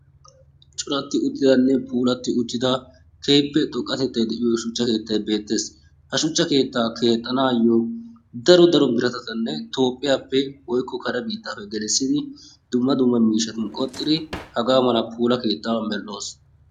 Coratti uttidanne puulatti uttida keehippe xoqqatettayi de"iyo shuchcha keettayi beettes Ha shuchcha keettaa keexxanaayyo daro daro biratatanne toophphiyappe woykko kare biittaappe gelissidi dumma dumma miishshatun qoxxidi hagaa mala puula keettaa medhdhos.